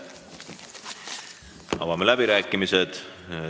Avan läbirääkimised.